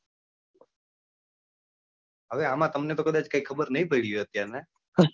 હવે અમ તમને તો કદાચ ખબર ની પડી હોય અત્યારનાં,